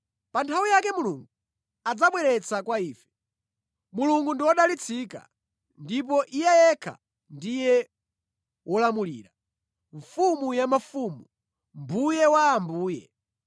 Pa nthawi yake Mulungu adzamubweretsa kwa ife. Mulungu ndi wodalitsika ndipo Iye yekha ndiye Wolamulira, Mfumu ya mafumu, Mbuye wa ambuye.